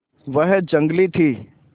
वह जंगली थी